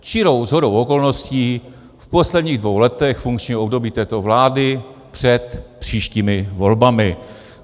Čirou shodou okolností v posledních dvou letech funkčního období této vlády před příštími volbami.